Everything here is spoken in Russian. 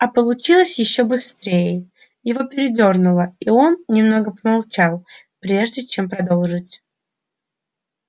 а получилось ещё быстрее его передёрнуло и он немного помолчал прежде чем продолжить